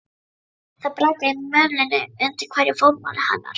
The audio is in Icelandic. Það brakaði í mölinni undir hverju fótmáli hennar.